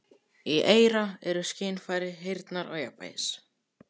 Í eyra eru skynfæri heyrnar og jafnvægis.